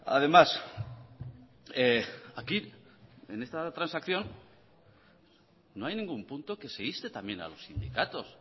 además aquí en esta transacción no hay ningún punto que se inste también a los sindicatos